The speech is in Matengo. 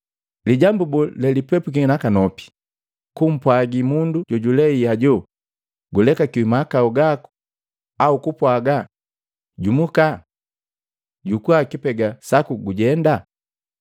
Lijambu boo lelipepwiki nakanopi, kumpwagi mundu jojulei hajo, ‘Gulekakiwi mahakau gaku,’ au kupwaga, ‘Jumuka! Jukua lipega laku gujenda’?